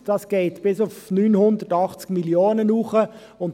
Es geht bis 980 Mio. Franken hoch.